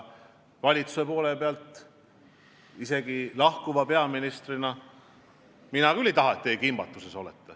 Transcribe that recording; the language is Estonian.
Aga isegi lahkuva peaministrina ma küll ei taha, et te kimbatuses olete.